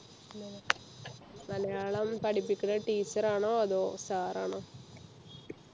മലയാളം പഠിപ്പിക്കുന്ന teacher ആണോ അതോ sir ആണോ